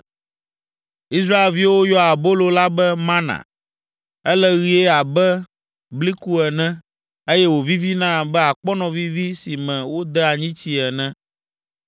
Israelviwo yɔa abolo la be, “mana.” Ele ɣie abe bliku ene, eye wòvivina abe akpɔnɔvivi si me wode anyitsii ene.